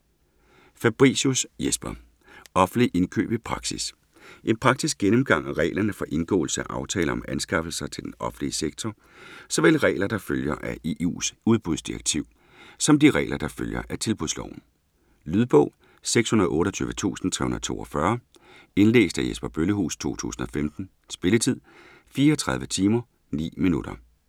Fabricius, Jesper: Offentlige indkøb i praksis En praktisk gennemgang af reglerne for indgåelse af aftaler om anskaffelser til den offentlige sektor, såvel regler, der følger af EU's udbudsdirektiv, som de regler, der følger af Tilbudsloven. Lydbog 628342 Indlæst af Jesper Bøllehuus, 2015. Spilletid: 34 timer, 9 minutter.